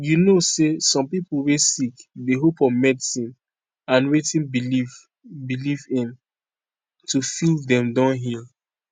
you know say some pipo wey sick dey hope on medicine and wetin belief belief in to feel dem don heal